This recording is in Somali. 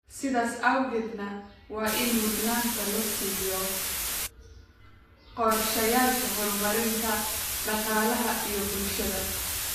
sidaas awgeedna waa in mudnaanta la siiyo qorshayaasha horumarinta dhaqaalaha iyo bulshada.